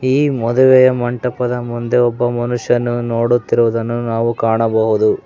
ಈ ಮದುವೆಯ ಮಂಟಪದ ಮುಂದೆ ಒಬ್ಬ ಮನುಷ್ಯನು ನೋಡುತ್ತಿರುವುದನ್ನು ನಾವು ಕಾಣಬಹುದು.